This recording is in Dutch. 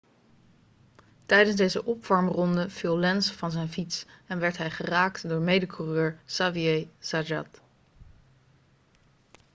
tijdens zijn opwarmronde viel lenz van zijn fiets en werd hij geraakt door mede-coureur xavier zayat